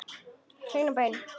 Hreinn og beinn.